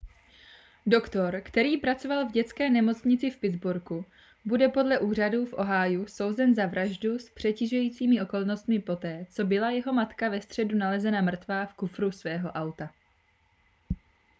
doktor který pracoval v dětské nemocnici v pittsburghu bude podle úřadů v ohiu souzen za vraždu s přitěžujícími okolnostmi poté co byla jeho matka ve středu nalezena mrtvá v kufru svého auta